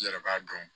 I yɛrɛ b'a dɔn